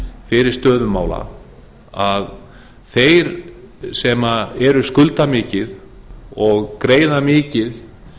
fyrir stöðu mála að þeir sem skulda mikið og greiða mikið